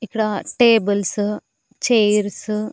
ఇక్కడ tables chairs --